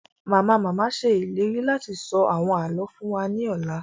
Mama-mama ṣe ìlérí láti sọ àwọn àlọ fún wa ni ọla